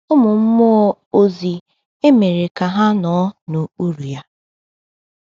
Ụmụ mmụọ ozi emere ka ha “nọ n’okpuru ya.”